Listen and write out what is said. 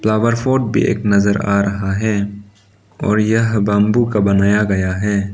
Flower pot भी एक नजर आ रहा है और यह बंबू का बनाया गया है।